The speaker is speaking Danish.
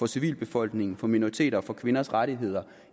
civilbefolkningen minoriteter og kvinders rettigheder